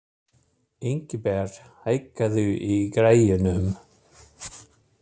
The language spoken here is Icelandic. Ingibert, hækkaðu í græjunum.